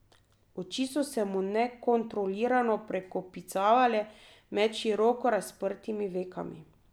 Oči so se mu nekontrolirano prekopicevale med široko razprtimi vekami.